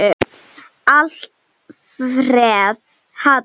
Alfreð Hall.